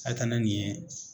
A ye taa na nin ye